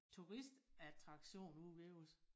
Turistattraktion ude ved os